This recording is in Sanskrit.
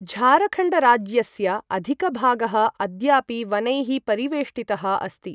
झारखण्डराज्यस्य अधिकभागः अद्यापि वनैः परिवेष्टितः अस्ति।